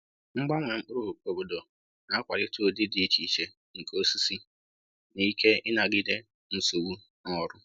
Mgbanwe mkpụrụ obodo na-akwalite ụdị dị iche iche nke osisi na ike ịnagide nsogbu n’ọrụ